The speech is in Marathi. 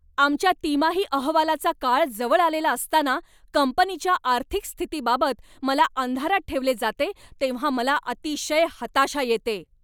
आमच्या तिमाही अहवालाचा काळ जवळ आलेला असताना कंपनीच्या आर्थिक स्थितीबाबत मला अंधारात ठेवले जाते तेव्हा मला अतिशय हताशा येते.